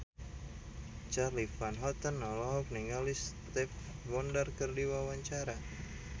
Charly Van Houten olohok ningali Stevie Wonder keur diwawancara